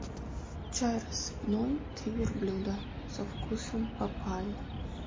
чай рассыпной три верблюда со вкусом папайи